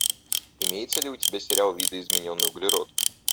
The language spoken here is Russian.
имеется ли у тебя сериал видоизмененный углерод